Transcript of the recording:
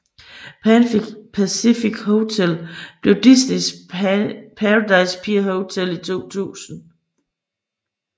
Pan Pacific Hotel blev Disneys Paradise Pier Hotel i 2000